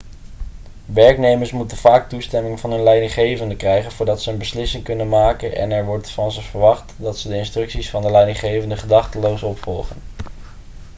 werknemers moeten vaak toestemming van hun leidinggevenden krijgen voordat ze een beslissing kunnen maken en er wordt van ze verwacht dat ze de instructies van de leidinggevenden gedachteloos opvolgen